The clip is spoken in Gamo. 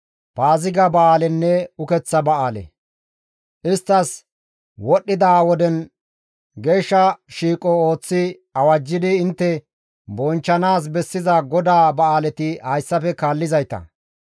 «Isttas wodhdhida woden geeshsha shiiqo ooththi awajjidi intte bonchchanaas bessiza GODAA ba7aaleti hayssafe kaallizayta,